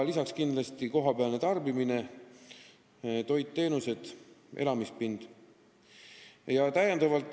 Lisaks tuleb kindlasti arvestada kohapealset tarbimist: toit, teenused, elamispind.